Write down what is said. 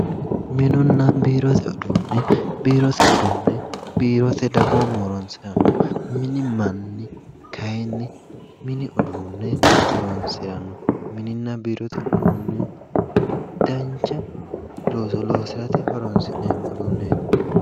Minunnabiirote uduune biirote uduune biirote dagoomu horonisiranno mini manni kayinni mini uduune horonisiranno mininna biirote uduuni danicha looso loosirate horoni'sinemo uduuneeti